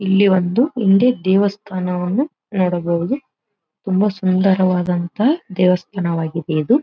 ಇಲ್ಲಿ ಒಂದು ಹಿಂದೆ ದೇವಸ್ಥಾನವನ್ನು ನೋಡಬಹುದು ತುಂಬಾ ಸುಂದರವಾದಂತಹ ದೇವಸ್ಥಾನವಾಗಿದೆ ಇದು.